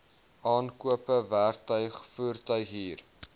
aankope werktuig voertuighuur